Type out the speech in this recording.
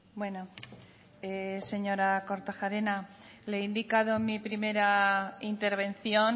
bueno señora kortajarena le he indicado en mi primera intervención